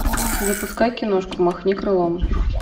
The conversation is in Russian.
запускай киношку махни крылом